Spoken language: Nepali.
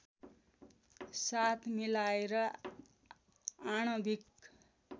साथ मिलाएर आणविक